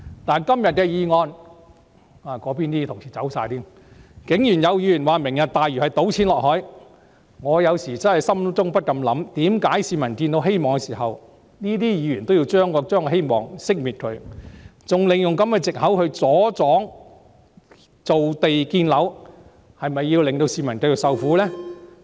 但就今天的議案——那邊的同事已全部離席——竟然有議員指"明日大嶼"計劃是倒錢落海，我不禁心想：為何當市民看到希望時，這些議員要令希望熄滅，還利用這個藉口來阻擋造地建樓，是否要令市民繼續受苦？